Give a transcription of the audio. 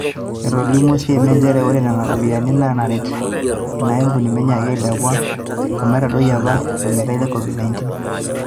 Etolimuo CMA nchere ore nena ropiyiani na naret ina ampuni meinyaaki alepu amu eitadoyie apa olmeitai le Covid 19.